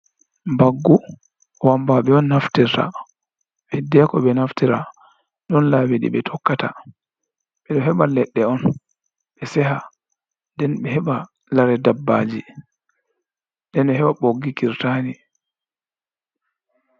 Mbaggu wammbaaɓe on naftirta. Hiddeeko ɓe naftira, ɗon laabi ɗi ɓe tokkata, ɓe ɗo heba leɗɗe on ɓe seha, nden ɓe heɓa lare dabbaaji, nden heɓa boggi kirtaani.